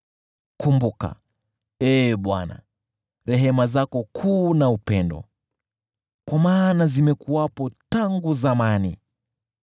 Kumbuka, Ee Bwana , rehema zako kuu na upendo, kwa maana zimekuwepo tangu zamani.